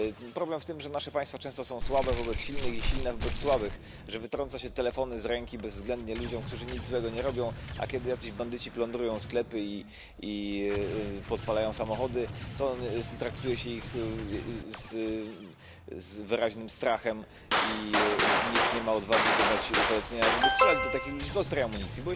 Problem w tym, że nasze państwa często są słabe wobec silnych, silne wobec słabych, że wytrąca się telefony z ręki bezwzględnie ludziom, którzy nic złego nie robią, a kiedy jacyś bandyci plądrują sklepy i podpalają samochody, to traktuje się ich z wyraźnym strachem i nikt nie ma odwagi wydać polecenia, żeby strzelać do takich ludzi z ostrej amunicji.